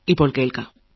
മനസ്സു പറയുത്